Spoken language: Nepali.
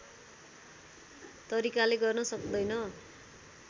तरिकाले गर्न सक्दैन